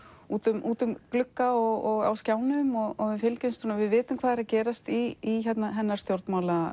út um út um glugga og á skjánum og við vitum hvað er að gerast í hennar stjórnmálalífi